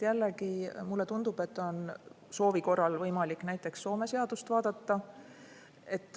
Jällegi mulle tundub, et soovi korral on võimalik näiteks Soome seadust vaadata.